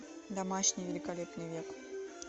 домашний великолепный век